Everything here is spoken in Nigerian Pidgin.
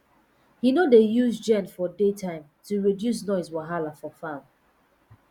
he no dey use gen for day time to reduce noise wahala for farm